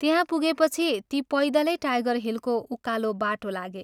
त्यहाँ पुगेपछि ती पैदलै टाइगर हिलको उकालो बाटो लागे।